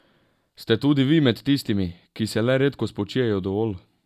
Ste tudi vi med tistimi, ki se le redko spočijejo dovolj?